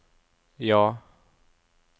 ja